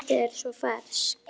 Og loftið er svo ferskt.